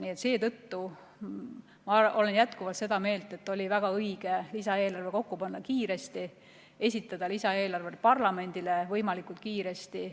Nii et seetõttu ma olen jätkuvalt seda meelt, et oli väga õige panna lisaeelarve kokku kiiresti ja esitada see ka parlamendile võimalikult kiiresti.